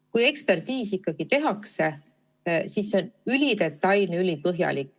Kui ekspertiis tehakse, siis on see ülidetailne, ülipõhjalik.